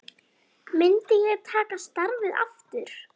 Myndi ég taka starfið aftur?